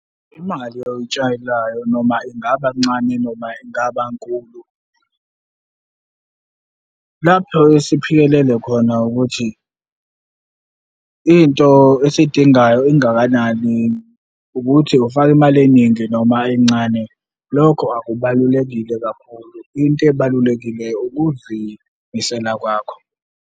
Imali oyitshalayo noma ingaba ncane noma ingaba nkulu, lapho esiphikelele khona ukuthi into esiyidingayo ingakanani, ukuthi ufaka imali eningi noma encane. Lokho akubalulekile kakhulu, into ebalulekile ukuzimisela kwakho.